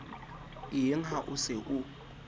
eng ha o se o